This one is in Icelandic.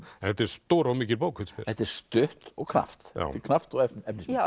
þetta er stór og mikil bók finnst mér þetta er stutt og knappt knappt og efnismikið já